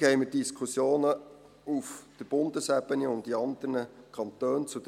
Gleichzeitig haben wir zur gleichen Thematik Diskussionen auf Bundesebene und in anderen Kantonen.